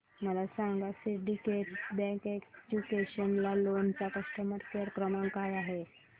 मला सांगा syndicate bank educational loan चा कस्टमर केअर क्रमांक काय आहे